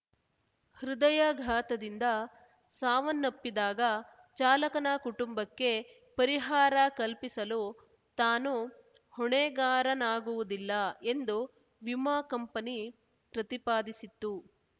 ಹೃದಯಘಾತದಿಂದ ಸಾವನ್ನಪ್ಪಿದಾಗ ಚಾಲಕನ ಕುಟುಂಬಕ್ಕೆ ಪರಿಹಾರ ಕಲ್ಪಿಸಲು ತಾನು ಹೊಣೆಗಾರನಾಗುವುದಿಲ್ಲ ಎಂದು ವಿಮಾ ಕಂಪನಿ ಪ್ರತಿಪಾದಿಸಿತ್ತು